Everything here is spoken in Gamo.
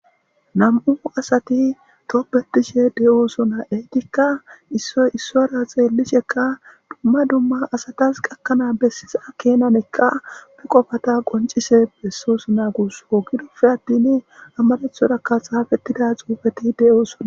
nam7u asati toopbetishe de7oosona etikka issoy issora xeellisheka dumma dumma asatas gakkanaa bessisa kenanekka be qofata qoncise bessos naagus ogidofe attin ammadethorakka haafettida xuufeti de7oosona